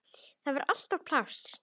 Þar var alltaf pláss.